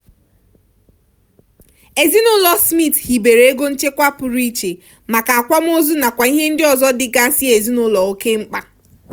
ezinụlọ smith hibere ego nchekwa pụrụ iche maka akwamozu nakwa ihe ndị ọzọ dịgasị ezinụlọ oke mkpa.